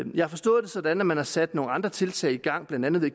jeg har forstået det sådan at man har sat nogle andre tiltag i gang blandt andet ved